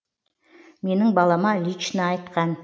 менің балама лично айтқан